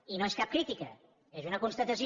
i no és cap crítica és una constatació